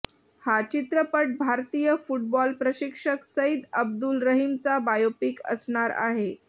हा चित्रपट भारतीय फुटबॉल प्रशिक्षक सईद अब्दुल रहीमचा बायोपिक असणार आहे